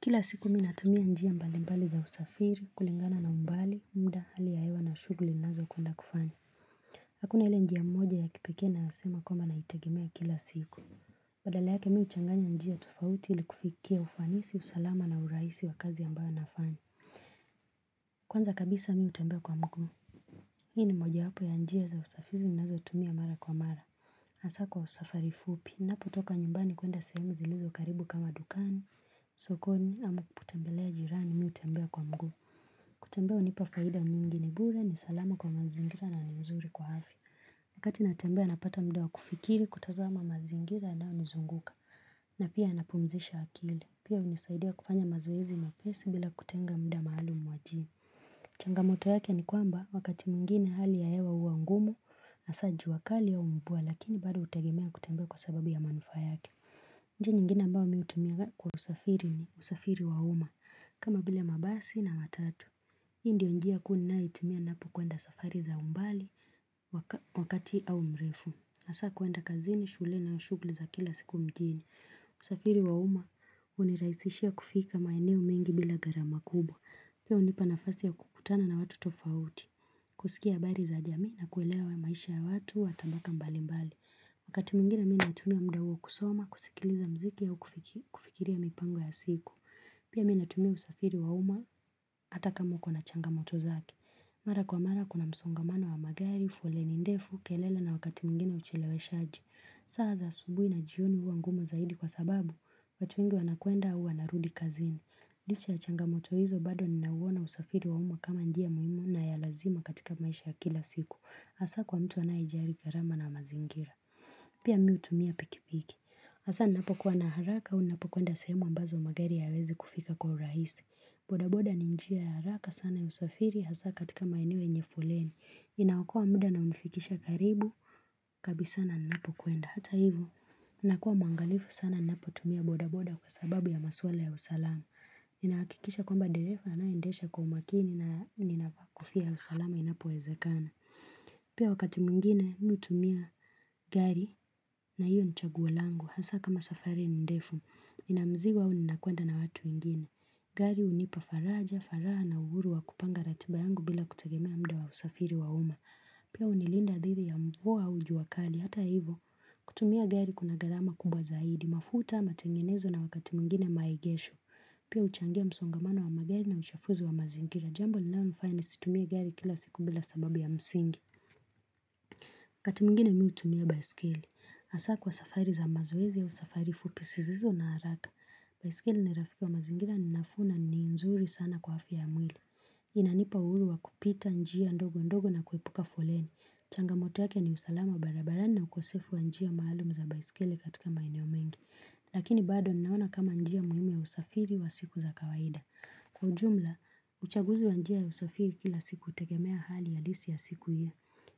Kila siku mimi natumia njia mbalimbali za usafiri kulingana na mbali muda hali ya hewa na shughuli nazo kwenda kufanya. Hakuna ile njia mmoja ya kipekee naeza sema kwa naitegemea kila siku. Badala yake mimi huchanganya njia tofauti ili kufikia ufanisi usalama na urahisi wa kazi ambayo nafanya Kwanza kabisa mimi hutembea kwa mguu. Hii ni moja hapo ya njia za usafiri ninazotumia mara kwa mara asa kwa safari fupi, ninapotoka nyumbani kwenda sehemu zilizo karibu kama dukani, msokoni, ama kutembelea jirani mimi hutembea kwa mguu kutembea hunipa faida mingi ni bure ni salama kwa mazingira na ni nzuri kwa afya. Wakati natembea napata muda wa kufikiri kutazama mazingira ambayo nizunguka na pia napumzisha akili. Pia hunisaidia kufanya mazoezi mepesi bila kutenga muda maalum wa jimu Changamoto yake ni kwamba wakati mwingine hali ya hewa huwa ngumu na sa jua kali ya mvua lakini bado utegemea kutembea kwa sababu ya manufaa yake. Njia nyingine ambao mimi hutumiaga kwa usafiri ni usafiri wa uma kama bile mabasi na matatu. Hiyo ndio njia kuu ninayoitumia ninapokwenda safari za umbali wakati au mrefu. Hasa kwenda kazini, shule na shughuli za kila siku mjini. Usafiri wa uma uniraisishia kufika maeneo mengi bila gharama kubwa. Pia unipa nafasi ya kukutana na watu tofauti, kusikia habari za jamii na kuelewa maisha ya watu, watabaka mbali mbali. Wakati mwingine mimi natumia muda huo kusoma, kusikiliza mziki au kufikiria mipango ya siku. Pia mimi natumia usafiri wauma, ata kama uko na changamoto zake. Mara kwa mara kuna msongamano wa magari, foleni ndefu, kelele na wakati mwingine ucheleweshaji. Saa za asubuhi na jioni huwa ngumu zaidi kwa sababu, watu wengu wanakwenda au wanarudi kazini. Licha ya changamoto hizo bado ninauona usafiri wa umma kama njia muhimu na ya lazima katika maisha ya kila siku Asa kwa mtu anayejali gharama na mazingira Pia mimi hutumia pikipiki. Hasa ninapokuwa na haraka au ninapo kwenda sehemu mbazo magari hayawezi kufika kwa urahisi. Boda boda ni njia ya haraka sana ya usafiri hasa katika maeneo yenye foleni. Inaokoa muda na unifikisha karibu. Kabisa na ninapokwenda. Hata hivo. Ninakuwa mwangalifu sana ninapotumia boda boda kwa sababu ya maswala ya usalama. Ninahakikisha kwamba dereva anayeedesha kwa umakini na ninakofia ya usalama inapowezekana. Pia wakati mwingine, mimi utumia gari. Na hiyo ni chaguo langu, hasa kama safari ni ndefu. Ninamzigo au ninakwenda na watu wengine. Gari unipa faraja, faraha na uhuru wa kupanga ratiba yangu bila kutegemea muda wa usafiri wa umma. Pia unilinda dhidi ya mvua au jua kali. Hata hivo. Kutumia gari kuna gharama kubwa zaidi. Mafuta matengenezo na wakati mwingine maegesho. Pia uchangia msongamano wa magari na uchafuzi wa mazingira. Jambo linalo nifanya nisitumie gari kila siku bila sababu ya msingi. Wakati mwingine mimi utumia baiskeli. Hasa kwa safari za mazoezi au safari fupi, sizizo na haraka. Baiskeli ni rafika wa mazingira, ninafuu na nzuri sana kwa afya ya mwili. Inanipa uhuru wa kupita njia ndogo ndogo na kuepuka foleni. Changamoto yake ni usalama barabarani na ukosefu wa njia mahaluum za baiskeli katika maeneo mengi. Lakini bado ninaona kama njia muhimu ya usafiri wa siku za kawaida. Kwa ujumla, uchaguzi wa njia ya usafiri kila siku tegemea hali halisi ya siku hiyo.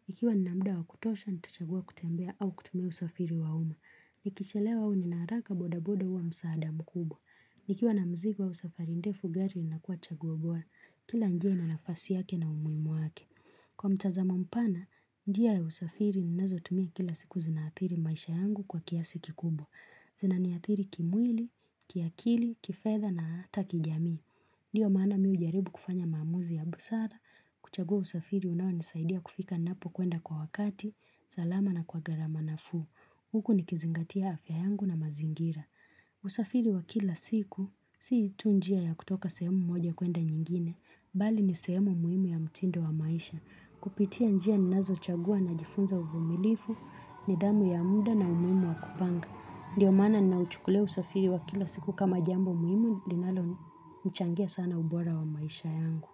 Ikiwa ninamuda wa kutosha, nitachagua kutembea au kutumia usafiri wa umma. Nikichelewa au ninaharaka boda boda huwa msaada mkubwa. Nikiwa na mzigo au safari ndefu. Gari inakuwa chaguo bora. Kila njia ina nafasi yake na umuimu wake. Kwa mtazamo mpana, njia ya usafiri ninazo tumia kila siku zinathiri maisha yangu kwa kiasi kikubwa. Zina niadhiri kimwili, kiakili, kifedha na ata kijamii. Ndiyo maana mimi ujaribu kufanya maamuzi ya busara. Kuchagua usafiri unao nisaidia kufika ninapo kwenda kwa wakati. Salama na kwa gharama nafuu. Huku ni kizingatia afya yangu na mazingira. Usafiri wa kila siku, si tu njia ya kutoka sehemu moja kwenda nyingine. Bali ni sehemu muhimu ya mtindo wa maisha. Kupitia njia ninazo chagua najifunza uvumilivu, nidhamu ya muda na umuhimu wa kupanga. Ndiyo maana ninauchukulia usafiri wa kila siku kama jambo muhimu linalo changia sana ubora wa maisha yangu.